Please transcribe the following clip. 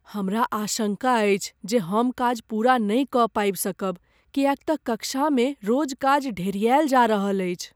हमरा आशङ्का अछि जे हम काज पूरा नहि कऽ पाबि सकब किएक तँ कक्षामे रोज काज ढेरिआयल जा रहल अछि ।